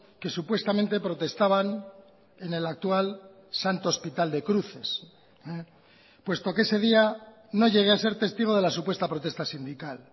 que supuestamente protestaban en el actual santo hospital de cruces puesto que ese día no llegué a ser testigo de la supuesta protesta sindical